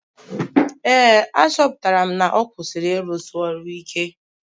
Ee, achọpụtara m na ọ kwụsịrị ịrụsi ọrụ ike